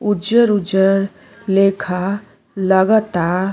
उजर उजर लेखा लागता।